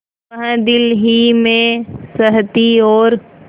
वह दिल ही में सहती और